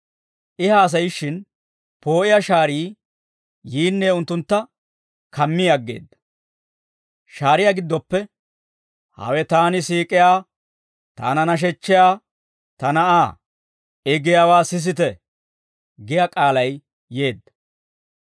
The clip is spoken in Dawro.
I haasayishshin, poo'iyaa shaarii yiinne unttuntta kammi aggeedda; shaariyaa giddoppe, «Hawe taani siik'iyaa taana nashechchiyaa ta Na'aa; I giyaawaa sisite» giyaa k'aalay yeedda.